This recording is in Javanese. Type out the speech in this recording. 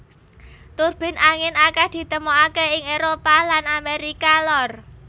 Turbin angin akèh ditemokaké ing Éropah lan Amérika Lor